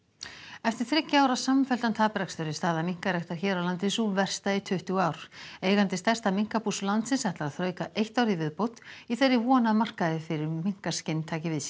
eftir þriggja ára samfelldan taprekstur er staða minkaræktar hér á landi sú versta í tuttugu ár eigandi stærsta minkabús landsins ætlar að þrauka eitt ár í viðbót í þeirri von að markaðir fyrir minkaskinn taki við sér